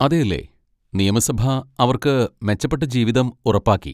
അതെയല്ലേ! നിയമസഭ അവർക്ക് മെച്ചപ്പെട്ട ജീവിതം ഉറപ്പാക്കി!